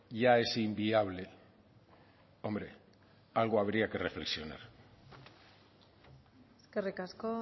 ya es inviable hombre algo habría que reflexionar eskerrik asko